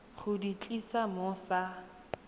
go di tlisa mo sa